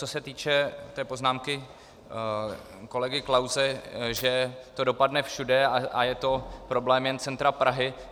Co se týče té poznámky kolegy Klause, že to dopadne všude a je to problém jen centra Prahy...